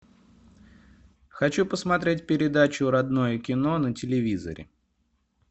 хочу посмотреть передачу родное кино на телевизоре